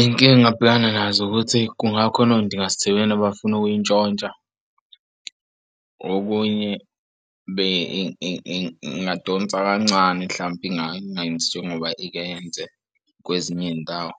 Inkinga abhekana nazo ukuthi kungakhona ondingasithebeni abafuna ukuyintshontsha okunye ingadonsa kancane. Mhlampe ingayenza ngoba ikwenze kwezinye iy'ndawo